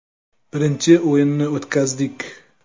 Birinchi o‘yinni o‘tkazdik.